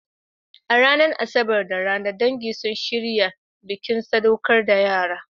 A ranar Asabar da rana, dangi sun shirya bikin sadaukar da yara.